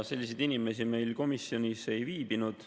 Selliseid inimesi meil komisjonis ei viibinud.